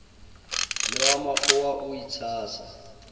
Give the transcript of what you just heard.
le wa makgowa o itshasa